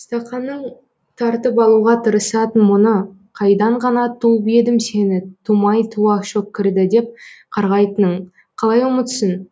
стақанын тартып алуға тырысатын мұны қайдан ғана туып едім сені тумай туа шөккірді деп қарғайтынын қалай ұмытсын